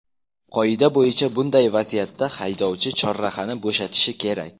Qoida bo‘yicha bunday vaziyatda haydovchi chorrahani bo‘shatishi kerak.